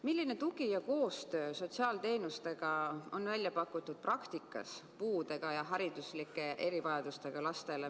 Milline tugi ja koostöö sotsiaalteenustega on praktikas välja pakutud puudega ja hariduslike erivajadustega lastele?